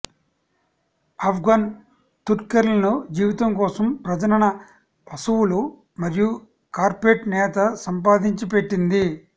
ఆఫ్ఘన్ తుర్క్మెన్ల జీవితం కోసం ప్రజనన పశువుల మరియు కార్పెట్ నేత సంపాదించి పెట్టింది